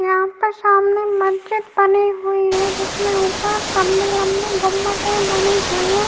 यहाँ पर सामने महजीद बनी हुई है। जिसमें ऊपर लंबी लंबी गुमटे बनी हुई है।